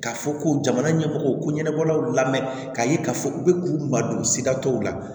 K'a fɔ ko jamana ɲɛmɔgɔw ko ɲɛnabɔlaw lamɛn k'a ye k'a fɔ u bɛ k'u madon sira tɔw la